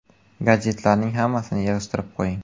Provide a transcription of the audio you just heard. Gadjetlarning hammasini yig‘ishtirib qo‘ying.